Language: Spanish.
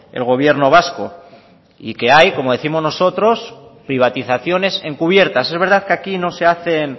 el gobierno vasco y que hay como décimos nosotros privatizaciones encubiertas es verdad que aquí no se hacen